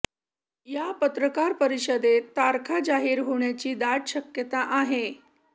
या पत्रकार परिषदेत तारखा जाहीर होण्याची दाट शक्यता आहे